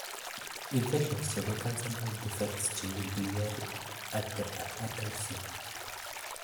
infections chebo cancer birth defects, cheu biliary atresia